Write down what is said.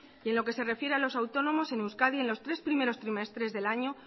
y en lo que se refiere a los autónomos en euskadi en los tres primeros trimestres del año